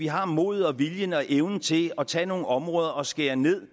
har modet viljen og evnen til at tage nogle områder og skære ned